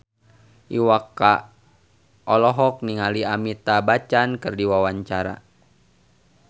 Iwa K olohok ningali Amitabh Bachchan keur diwawancara